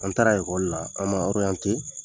An taara la an ma